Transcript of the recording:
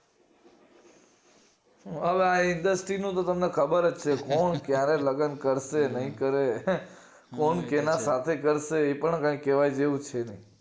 અલ્યા industry નું તો તમને ખબર જ છે કોણ કયારે લગન કરશે નય કરે કોણ કોના સાથે કરશે એ પણ કય કેવા જેવું છે નય